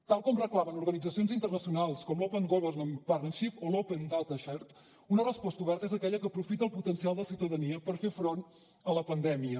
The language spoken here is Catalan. tal com reclamen organitzacions internacionals com l’open government partnership o l’open data sharing una resposta oberta és aquella que aprofita el potencial de la ciutadania per fer front a la pandèmia